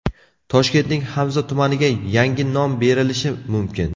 Toshkentning Hamza tumaniga yangi nom berilishi mumkin.